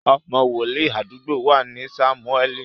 Ọmọ wòlíì àdúgbò wa ni Sámúẹ́ẹ̀lì